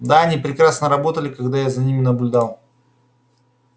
да они прекрасно работали когда я за ними наблюдал